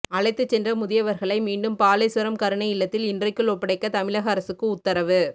அழைத்துச் சென்ற முதியவர்களை மீண்டும் பாலேஸ்வரம் கருணை இல்லத்தில் இன்றைக்குள் ஒப்படைக்க தமிழக அரசுக்கு உத்தரவு